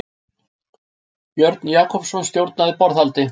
Björn Jakobsson stjórnaði borðhaldi.